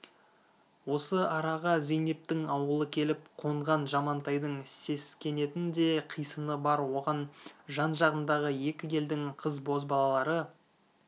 осы араға зейнептің ауылы келіп қонған жамантайдың сескенетін де қисыны бар оған жан-жағындағы екі елдің қыз-бозбалалары